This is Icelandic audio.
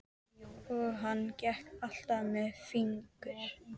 Og hann gekk alltaf með fingur